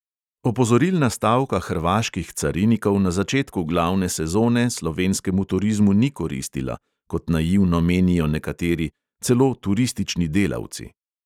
Opozorilna stavka hrvaških carinikov na začetku glavne sezone slovenskemu turizmu ni koristila, kot naivno menijo nekateri, celo turistični delavci.